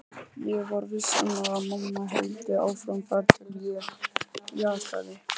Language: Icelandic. Ég var viss um að mamma héldi áfram þar til ég játaði.